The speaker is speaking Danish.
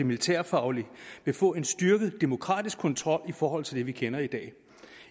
militærfaglige vil få en styrket demokratisk kontrol i forhold til det vi kender i dag